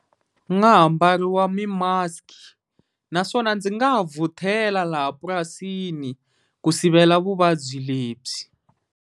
Ku nga ha mbariwa mi-mask naswona ndzi nga ha vhuthela laha purasini ku sivela vuvabyi lebyi.